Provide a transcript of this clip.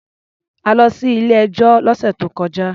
A lọ sí ilé-ẹjọ́ lọ́sè tó kọjá.